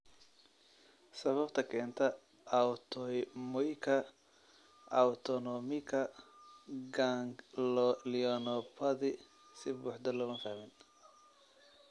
Sababta keenta autoimmuika autonomika ganglionopathy si buuxda looma fahmin.